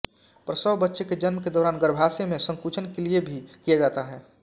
प्रसव बच्चे के जन्म के दौरान गर्भाशय में संकुचन के लिए भी किया जाता है